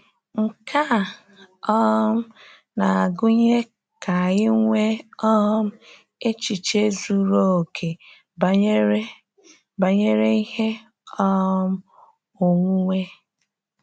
Nke a um na-agụnye ka anyị nwee um echiche zuru oke banyere banyere ihe um onwunwe.